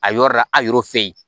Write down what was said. A yɔrɔ la arɔ fe yen